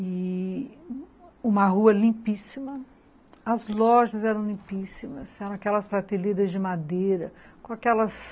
E uma rua limpíssima, as lojas eram limpíssimas, eram aquelas prateleiras de madeira com aquelas